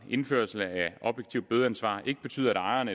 indførelsen af et objektivt bødeansvar ikke betyder at ejeren